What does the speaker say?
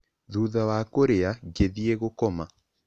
Thutha wa kũrĩa, ngĩthiĩ gũkoma.